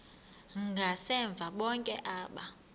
ngasemva bonke aba